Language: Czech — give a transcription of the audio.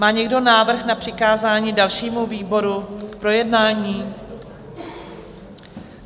Má někdo návrh na přikázání dalšímu výboru k projednání?